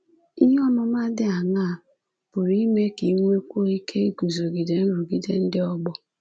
Ihe ọmụma dị aṅaa pụrụ ime ka i nwekwuo ike iguzogide nrụgide ndị ọgbọ?